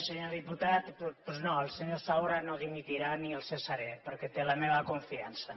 senyor diputat doncs no el senyor saura no dimitirà ni el cessaré perquè té la meva confiança